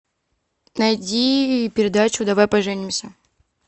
найди передачу давай поженимся